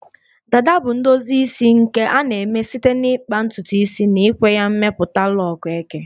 Dada bu ndozi isi nke a na-eme site n'ikpa ntutu isi na ikwe ya mmepụta lok eke